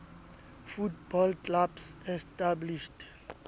football clubs established